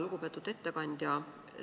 Lugupeetud ettekandja!